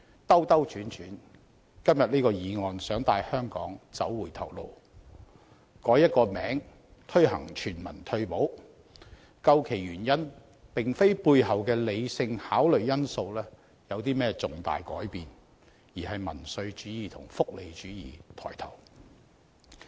兜兜轉轉，今天這項議案想帶香港走回頭路，改一個名字推行全民退保，究其原因，並非背後的理性考慮因素有甚麼重大改變，而是民粹主義和福利主義抬頭。